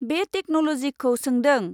बे टेक्न'ल'जिखौ सोंदों।